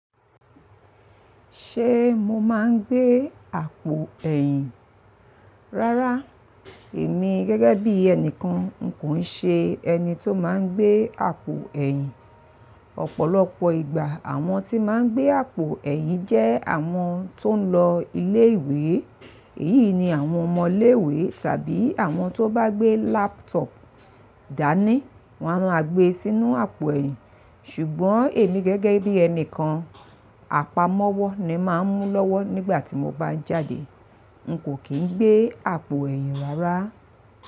Ṣé mo máa ń gbé àpò ẹ̀yìn? Rárá, èmi gẹ́gẹ́ bí ẹnìkan n kò nṣe ẹni tó máa ń gbé àpò ẹ̀yìn. Ọ̀pọ̀lọpọ̀ ìgbà àwọn tí máa ń gbé àpò ẹ̀yìn jẹ́ àwọn tó ń lọ ilé ìwé. Èyí ni àwọn ọmọ ilé ìwé tàbí àwọn tó bá gbé laptop dání, wọn á rà gbé e sínú apò ẹ̀wu Ṣùgbọ́n èmi gẹ́gẹ́ bí ẹnìkan, àpamọ́wọ́ ni màá ń mú lọ́wọ́ nígbà tí mo bá ń jáde. N kò kì í gbé àpò ẹ̀yìn rárá.